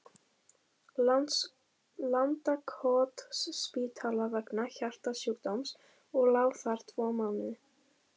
Landakotsspítala vegna hjartasjúkdóms og lá þar tvo mánuði.